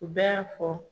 U bɛɛ y'a fɔ